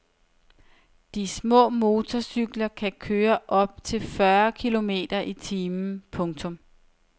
De små motorcykler kan køre op til fyrre kilometer i timen. punktum